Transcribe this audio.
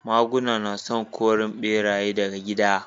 Maguna suna korin ɓeraye daga gida